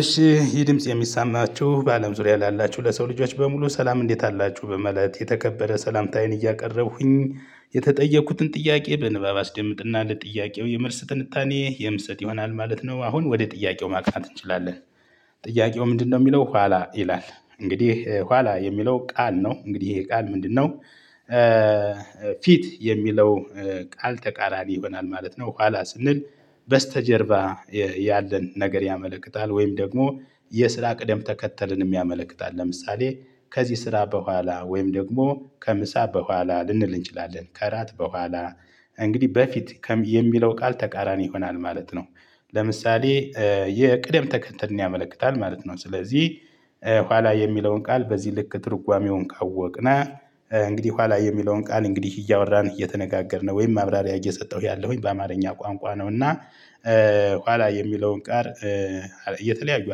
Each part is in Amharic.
እሺ ይህ ድምጽ የሚሰማችሁ በአለም ዙሪያ ላላችሁ ለሰው ልጆች በሙሉ ሰላም እንዴት አላችሁ በማለት የተከበረ ሰላምታዬን እያቀረብኩኝ የተጠየኩትን ጥያቄ በንባብ አስደምጥና ለጥያቄው የመልስ ትንታኔ የምሰጥ ይሆናል ማለት ነው። አሁን ወደ ጥያቄው ማቅናት እንችላለን። ጥያቄው ምንድነው የሚለው ኋላ ይላል። እንግዲህ ኋላ የሚለው ቃል ነው እንግዲህ ይሄ ቃል ምንድነው? ፊት የሚለው ቃል ተቃራኒ ይሆናል ማለት ነው። ኋላ ስንል በስተጀርባ ያለን ነገር ያመለክታል። ወይም ደግሞ የስራ ቅደም ተከተልንም ያመለክታል። ለምሳሌ ከዚህ ስራ በኋላ ወይም ደግሞ ከምሳ በኋላ ልንል እንችላለን ከራት በኋላ። እንግዲህ በፊት የሚለው ቃል ተቃራኒ ይሆናል ማለት ነው። ለምሳሌ የቅደም ተከተልን ያመለክታል ማለት ነው። ስለዚህ ኋላ የሚለውን ቃል በዚህ ልክ ትርጓሜውን ካወቅን እንግዲህ በኋላ የሚለውን ቃል እንግዲህ እያወራን እየተነጋገርን ወይም ማብራሪያ እየሰጠሁ ያለሁኝ በአማርኛ ቋንቋ ነው። እና ኋላ የሚለውን ቃል የተለያዩ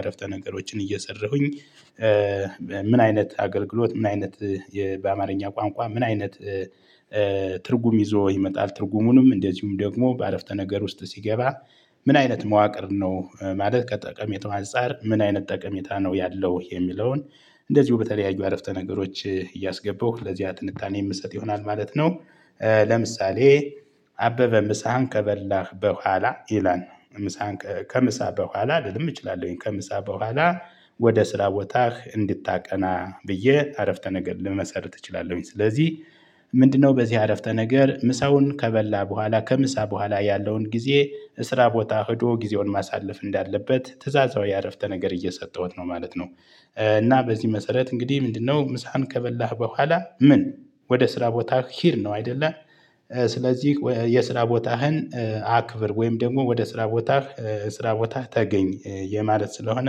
አርፍተነገሮችን እየሰራሁኝ ምን አይነት አገልግሎት ምን አይነት በአማርኛ ቋንቋ ምን አይነት ትርጉም ይዞ ይመጣል ትርጉሙንም እንደዚሁም ደግሞ በአረፍተ ነገር ውስጥ ሲገባ። ምን አይነት መዋቅር ነው ማለት ከጠቀሜታው አንፃር ምን አይነት ጠቀሜታ ነው ያለው የሚለውን? እንደዚሁ በተለያዩ አረፍተ ነገሮች እያስገባሁ ለዚያ ትንታኔ የምሰጥ ይሆናል ማለት ነው። ለምሳሌ አበበ ምሳህን ከበላህ በኋላ ይላል ነው ምሳህን ከምሳህ በኋላ ልልም እችላለሁኝ ከምሳ በኋላ። ወደ ስራ ቦታህ እንድታቀና ብዬ አረፍተ ነገር ልመሰርት እችላለሁኝ ስለዚህ ምንድነው በዚህ አረፍተ ነገር ምሳውን ከበላ በኋላ ከምሳ በኋላ ያለውን ጊዜ እስራ ቦታ ሄዶ ጊዜውን ማሳለፍ እንዳለበት ትእዛዛዊ አረፍተ ነገር እየሰጠሁት ነው ማለት ነው። እና በዚህ መሰረት እንግዲህ ምንድነው ምሳህን ከበላህ በኋላ ምን ወደ ስራ ቦታ ሂድ ነው አይደለ? ስለዚህ የስራ ቦታህን አክብር ወይም ደግሞ ወደ ስራ ቦታህ ስራ ቦታህ ተገኝ የማለት ስለሆነ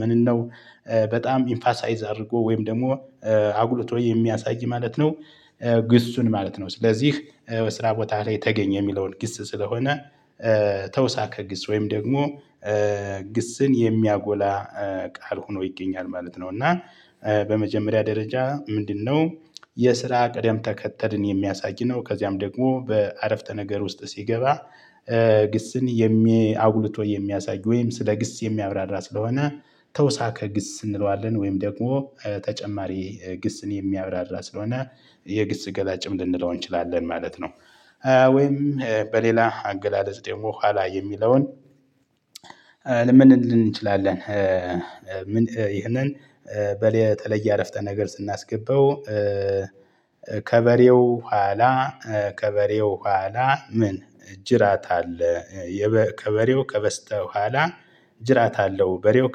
ምንነው? በጣም ኢምፋሳይዝ አድርጎ ወይም ደግሞ አጉልቶ የሚያሳይ ማለት ነው። ግሱን ማለት ነው ስለዚህ በስራ ቦታ ላይ ተገኝ የሚለውን ግስ ስለሆነ። ተውሳከ ግስ ወይም ደግሞ ግስን የሚያጎላ ቃል ሆኖ ይገኛል ማለት ነው። እና በመጀመሪያ ደረጃ ምንድነው? የስራ ቀደም ተከተልን የሚያሳይ ነው ከዚያም ደግሞ በአረፍተ ነገር ውስጥ ሲገባ። ግስን የሚ አጉልቶ የሚያሳይ ወይም ስለ ግስ የሚያብራራ ስለሆነ ተውሳከ ግስ እንለዋለን ወይም ደግሞ ተጨማሪ ግስን የሚያብራራ ስለሆነ የግስ ገላጭም ልንለው እንችላለን ማለት ነው። ወይም በሌላ አገላለጽ ደግሞ ኋላ የሚለውን? ምን ልንል እንችላለን? ይሄንን በለ የተለየ አረፍተ ነገር ስናስገባው። ከበሬው ኋላ ከበሬው በኋላ ምን እ ጅራት አለ የ ከበሬው ከበስተኋላ ጅራት አለው በሬው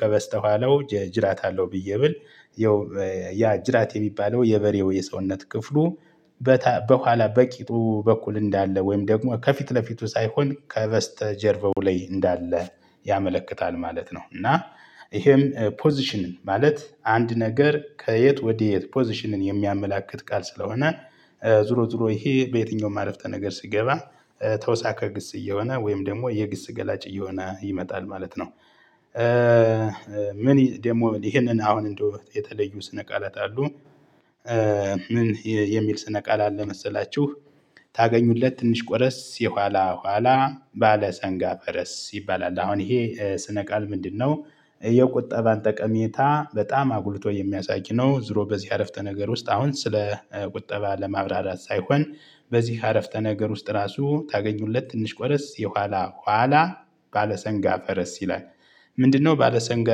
ከበስተኋላው ጅራት አለው ብዬ ብል። ያ ጅራት የሚባለው የበሬው የሰውነት ክፍሉ በኋላ በቂጡ በኩል እንዳለ ወይም ደግሞ ከፊት ለፊቱ ሳይሆን ከበስተ ጀርባው ላይ እንዳለ ያመለክታል ማለት ነው። እና ይሄም ፖዚሽን ማለት አንድ ነገር ከየት ወዴት ፖዚሽንን የሚያመላክት ቃል ስለሆነ። ዙሮ ዙሮ ይሄ በየትኛውም አረፍተ ነገር ሲገባ ተውሳካ ግስ እየሆነ ወይም ደግሞ የግስ ገላጭ እየሆነ ይመጣል ማለት ነው። ምን ደግሞ ይሄንን አሁን እንደው የተለዩ ስነ ቃላት አሉ። ምን የሚል ስነ ቃል አለ መሰላችሁ? ታገኙለት ትንሽ ቆረስ የኋላ ኋላ ባለ ሰንጋ ፈረስ ይባላል። አሁን ይሄ ስነ ቃል ምንድነው? የቁጠባን ጠቀሜታ በጣም አጉልቶ የሚያሳይ ነው። ዞሮ በዚህ አረፍተ ነገር ውስጥ አሁን ስለ ቁጠባ ለማብራራት ሳይሆን በዚህ አረፍተ ነገር ውስጥ ራሱ ታገኙለት ትንሽ ቆረስ የኋላ ኋላ ባለሰንጋ ፈረስ ይላል። ምንድነው ባለሰንጋ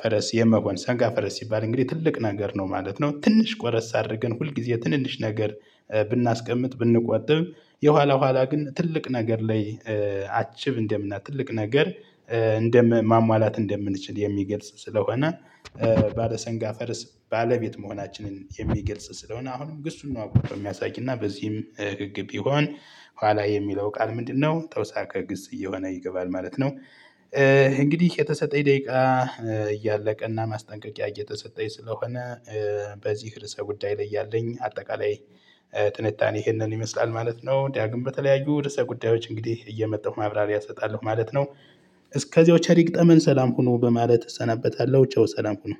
ፈረስ የመሆን ሰንጋ ፈረስ ሲባል እንግዲህ ትልቅ ነገር ነው ማለት ነው። ትንሽ ቆረስ አድርገን ሁል ጊዜ ትንንሽ ነገር ብናስቀምጥ ብንቆጥብ የኋላ ኋላ ግን ትልቅ ነገር ላይ አቺቭ እንደምናል ትልቅ ነገር እንደማሟላት እንደምንችል የሚገልጽ ስለሆነ። ባለሰንጋ ፈረስ ባለቤት መሆናችንን የሚገልጽ ስለሆነ አሁንም ግሱን ነው አጉልቶ የሚያሳይ እና በዚህም ህግ ቢሆን ኋላ የሚለው ቃል ምንድነው ተውሳከ ግስ እየሆነ ይገባል ማለት ነው። እንግዲህ የተሰጠኝ ደቂቃ እያለቀ እና ማስጠንቀቂያ እየተሰጠኝ ስለሆነ በዚህ ርዕሰ ጉዳይ ላይ ያለኝ አጠቃላይ ትንታኔ ይሄንን ይመስላል ማለት ነው። ዳግም በተለያዩ ርዕሰ ጉዳዮች እንግዲህ እየመጣሁ ማብራሪያ እሰጣለሁ ማለት ነው። እስከዚያው ቸር ይግጠመን ሰላም ሁኑ በማለት እሰናበታለሁ ቻው ሰላም ሁኑ።